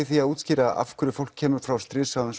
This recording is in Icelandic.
því að útskýra af hverju fólk kemur frá stríðshrjáðum